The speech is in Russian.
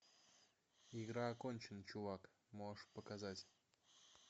игра окончена чувак можешь показать